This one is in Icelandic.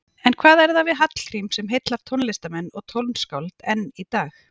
En hvað er það við Hallgrím sem heillar tónlistarmenn og tónskáld enn í dag?